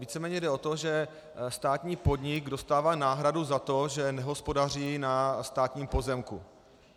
Víceméně jde o to, že státní podnik dostává náhradu za to, že nehospodaří na státním pozemku.